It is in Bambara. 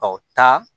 Ɔ taa